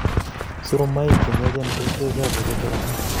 Soromaik che myachen koistai chafuk eng korotik